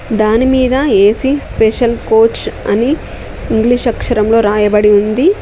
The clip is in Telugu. దానిమీద ఏ_సీ స్పెషల్ కోచ్ అని ఇంగ్లీష్ అక్షరంలో రాయబడి ఉంది.